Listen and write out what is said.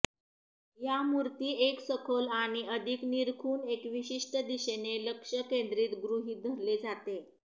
या मूर्ती एक सखोल आणि अधिक निरखून एक विशिष्ट दिशेने लक्ष केंद्रित गृहीत धरले जाते